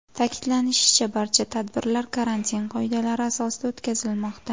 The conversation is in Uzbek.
Ta’kidlanishicha, barcha tadbirlar karantin qoidalari asosida o‘tkazilmoqda.